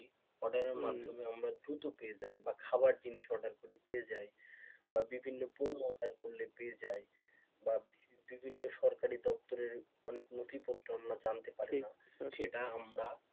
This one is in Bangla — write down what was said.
order এর মাধ্যমে আমরা দ্রুত পেয়ে যাই বা খাবার জিনিস order করি পেয়ে যাই বা বিভিন্ন পণ্য অর্ডার করলে পেয়ে যাই বা বিভিন্ন সরকারি দপ্তরের অনেক নথিপত্র আমরা জানতে পারি সেটা আমরা,